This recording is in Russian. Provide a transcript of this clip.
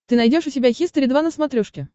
ты найдешь у себя хистори два на смотрешке